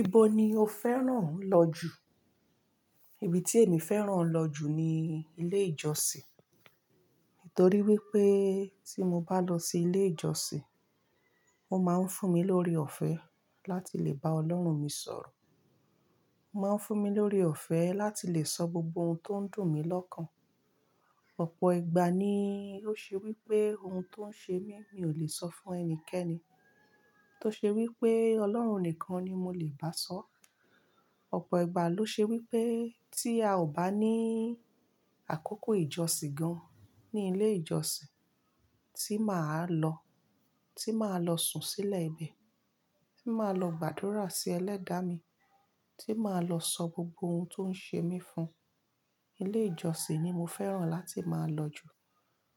Ibo ni o fẹ́ràn lọ jù? Ibi tí èmi fẹ́ràn lọ jù ni ilé ìjọsìn. Nítorí wípé tí mo bá lọ sí ilé ìjọsìn, ó máa ń fún mi lórí ọ̀fẹ́ láti lè bá Ọlọ́run mi sọ̀rọ̀. Ó máa ń fún mi lórí ọ̀fẹ́ láti lè sọ gbogbo ohun tó ń dùn mí lọ́kàn. Ọ̀pọ̀ ìgbà ni ó ṣey wípé ohun tó ń ṣe mí mi ò lè sọ fún ẹnikẹ́ni. Tó ṣe wípé Ọlọ́run nìkan ni mo lè bá a sọ́. Ọ̀pọ̀ ìgbà ló ṣe wípé tí a ò bá ní àkókò ìjọsìn gan ní ilé ìjọsìn tí mà á lọ, tí mà á lọ sùn sílẹ̀ ibẹ̀, tí mà á lọ gbàdúrà sí ẹlẹ́dàá mi, tí mà á lọ sọ gbogbo ohun tó ń ṣe mí fún, ilé ìjọsìn ni mo fẹ́ràn láti máa lọ jù.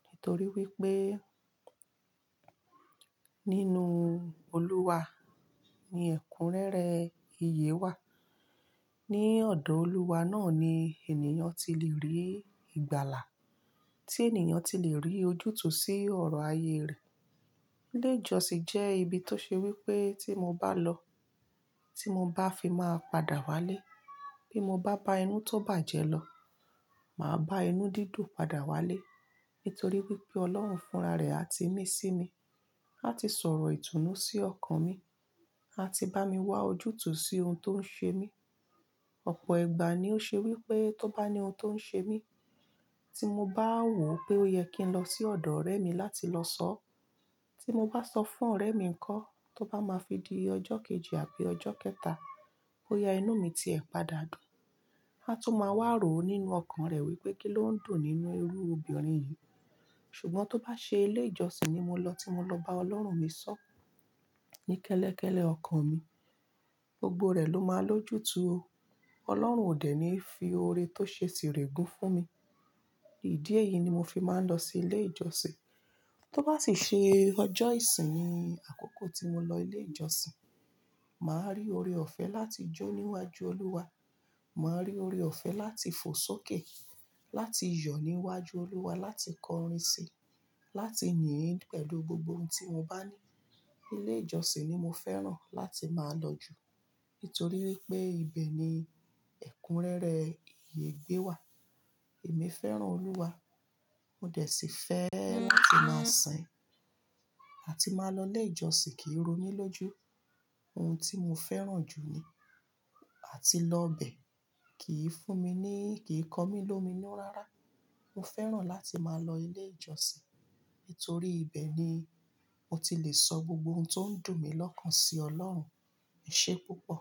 Nítorí wípé nínú Olúwa ni ẹ̀kúnrẹ́rẹ́ iye wà. Ni ọ̀dọ̀ Olúwa náà ni ènìyàn ti lè rí ìgbàlà, tí ènìyàn ti lè rí ojútùú sí ọ̀rọ̀ ayé rẹ̀. Ilé ìjọsìn jẹ́ ibi tó ṣe wípé tí mo bá lọ, tí mo bá fi máa padà wá lé, bí mo bá bá inú tó bàjẹ́ lọ, mà á bá inú dídùn padà wá lé. Nítorí wípé Ọlọ́run fúnra rẹ̀ àti mí sí mi láti sọ̀rọ̀ ìtùnú sí ọkàn mi, àti bá mi wá ojútùú sí ohun tó ń ṣe mí. Ọ̀pọ̀ ìgbà ni ó ṣe wípé tó bá ní ohun tó ń ṣe mí, tí mo bá wò pé ó yẹ kí n lọ sí ọ̀dọ̀ ọ̀rẹ́ mi láti lọ sọ ọ́, tí mo bá sọ fún ọ̀rẹ́ mi ko, tó bá máa fi di ọjọ́ kejì àbí ọjọ́ kẹta bawa inú mi tí ẹ̀ pa dàdùn, a tún máa wá rò ó nínú ọkàn rẹ̀ wípé kí ló ń dùn nínú ẹrú obìnrin yìí? Ṣùgbọ́n tó bá ṣe ilé ìjọsìn ni mo lọ tí mo lọ bá Ọlọ́run mi sọ́ ní kẹ́lẹ́kẹ́lẹ́ ọkàn mi, gbogbo rẹ̀ ló máa lójú tò ó. Ọlọ́run ò dẹ̀ ní fi oore tó ṣe sì rẹ̀ gún fún mi. Ìdí èyí ni mo fi máa ń lọ sí ilé ìjọsìn. Tó bá sì ṣe ọjọ́ ìsinmi, àkókò tí mo lọ ilé ìjọsìn, mà á rí oore ọ̀fẹ́ láti jó níwájú Olúwa. Mà á rí oore ọ̀fẹ́ láti fò sókè, láti yọ̀ níwájú Olúwa, láti kọrin sí i, láti níyìí pẹ̀lú gbogbo ohun tí mo bá ní. Ilé ìjọsìn ni mo fẹ́ràn láti máa lọ jù, nítorí wípé ibẹ̀ ni ẹ̀kúnrẹ́rẹ́ iye gbé wà. Èmi fẹ́ràn Olúwa, mo dẹ̀ sì fẹ́ láti máa sìn àti máa lọ ilé ìjọsìn kí rúnú lóju. Ohun tí mo fẹ́ràn jù ni àti lọ bẹ̀ kìí fún mi ní, kì í kọ mí lómi inú rárá. Mo fẹ́ràn láti máa lọ ilé ìjọsìn, nítorí ibẹ̀ ni mo ti lè sọ gbogbo ohun tó ń dùn mí lọ́kàn sí Ọlọ́run. Ese púpọ̀?